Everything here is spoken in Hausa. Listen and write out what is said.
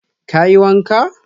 Ka yi wanka?